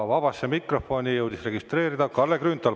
Vabasse mikrofoni jõudis registreeruda Kalle Grünthal.